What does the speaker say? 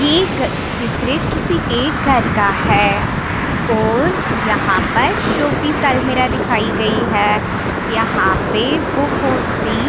यह चित्र किसी एक घर का है और यहाँ पर शोपीफेलमिरा दिखाई गई है यहाँ पर बहोत सी--